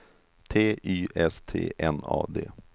T Y S T N A D